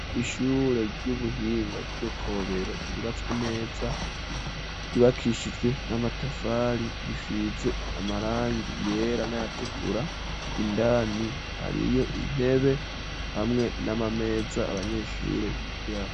ishure ry'ubuhinga ryo Kobero ryubatswe neza .Ryubakishijwe n'amatafari risize amarangi yera n'ayatukura indani hariyo intebe hamwe n'amameza abanyeshure bikiraho.